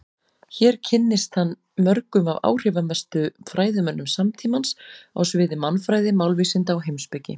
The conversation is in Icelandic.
Hér kynntist hann mörgum af áhrifamestu fræðimönnum samtímans á sviði mannfræði, málvísinda og heimspeki.